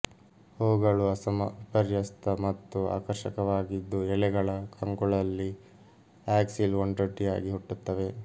ಹೂಗಳು ಅಸಮ ವಿಪರ್ಯಸ್ತ ಮತ್ತು ಆಕರ್ಷಕವಾಗಿದ್ದು ಎಲೆಗಳ ಕಂಕುಳಲ್ಲಿ ಆಕ್ಸಿಲ್ ಒಂಟೊಂಟಿಯಾಗಿ ಹುಟ್ಟುತ್ತವೆ